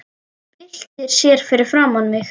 Byltir sér fyrir framan mig.